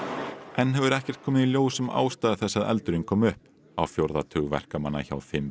enn hefur ekkert komið í ljós um ástæður þess að eldurinn kom upp á fjórða tug verkamanna hjá fimm